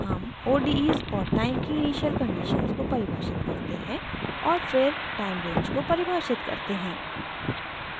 हम odes और time की इनिशियल कंडीशंस को परिभाषित करते हैं और फिर टाइम रेंज को परिभाषित करते हैं